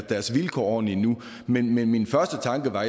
vilkår ordentligt endnu men min første tanke var